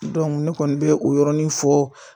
ne kɔni bɛ o yɔrɔnin fɔ